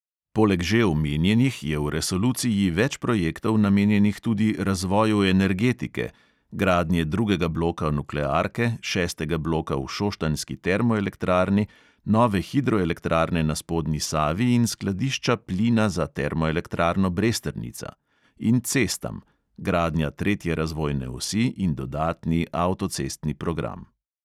Poleg že omenjenih je v resoluciji več projektov namenjenih tudi razvoju energetike (gradnje drugega bloka nuklearke, šestega bloka v šoštanjski termoelektrarni, nove hidroelektrarne na spodnji savi in skladišča plina za termoelektrarno bresternica) in cestam (gradnja tretje razvojne osi in dodatni avtocestni program).